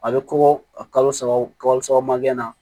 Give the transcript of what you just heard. A bɛ kɔgɔ saba mangɛnɛ